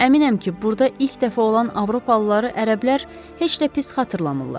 Əminəm ki, burda ilk dəfə olan avropalıları ərəblər heç də pis xatırlamırlar.